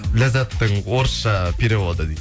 ләззаттың орысша переводы дейді